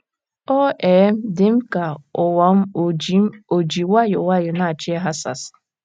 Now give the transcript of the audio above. Ọ um dị m ka ụwa m ò ji m ò ji nwayọọ nwayọọ na - achọ ịghasasị.